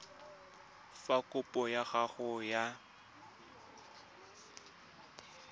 fa kopo ya gago ya